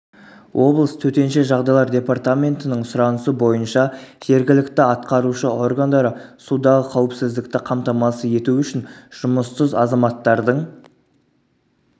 облыс төтенше жағдайлар департаментінің сұранысы бойынша жергілікті атқарушы органдары судағы қауіпсіздікті қамтамасыз ету үшін жұмыссыз азаматтардың